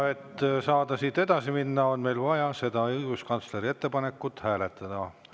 Et saada siit edasi minna, on meil vaja seda õiguskantsleri ettepanekut hääletada.